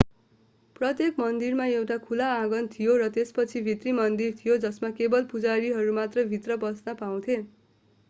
प्रत्येक मन्दिरमा एउटा खुला आँगन थियो र त्यसपछि भित्री मन्दिर थियो जसमा केवल पुजारीहरू भित्र पस्न पाउँथे